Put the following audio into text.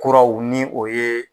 Kuraw ni o ye